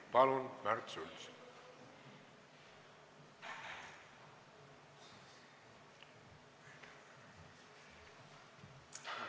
Palun, Märt Sults!